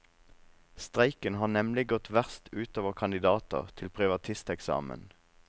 Streiken har nemlig gått verst utover kandidater til privatisteksamen.